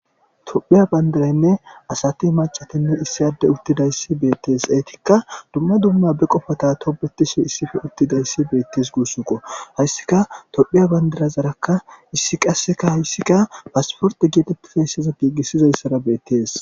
Tophiya bandiraynne asati macatinne issiyadde uttidayssi beettees eetikka dumma dumma be qofota tobetishi issife uttidayssi beettes guussunqo hayssika tophiya bandirazarakka issi qasseka hayssikka paasporte geetettifeesseza giigissizayssara beettees.